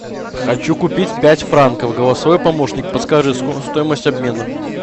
хочу купить пять франков голосовой помощник подскажи стоимость обмена